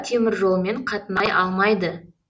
теміржолмен қатынай алмайды